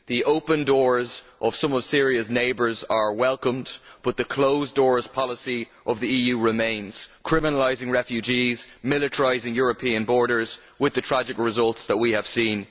The open doors of some of Syria's neighbours are welcomed but the closed doors policy of the EU remains criminalising refugees and militarising European borders with the tragic results that we have seen.